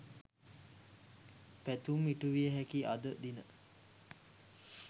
පැතුම් ඉටුවිය හැකි අද දින